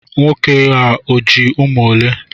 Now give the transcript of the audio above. Nwoke a o ji umu ole?